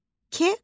K.